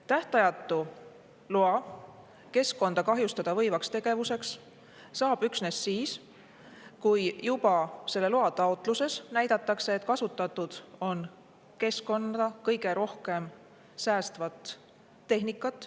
Tähtajatu loa keskkonda kahjustada võivaks tegevuseks saab üksnes siis, kui juba selle loa taotluses näidatakse, et kasutatud on keskkonda kõige rohkem säästvat tehnikat.